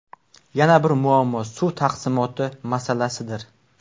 Yana bir muammo suv taqsimoti masalasidir.